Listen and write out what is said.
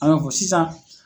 A ko sisan